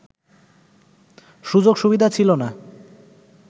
সুযোগ-সুবিধা ছিল না